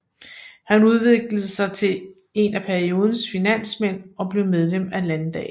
Han udviklede sig til en af periodens finansmænd og blev medlem af landdagen